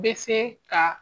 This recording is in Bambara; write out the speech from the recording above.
Bɛ se ka